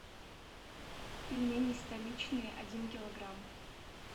пельмени столичные один килограмм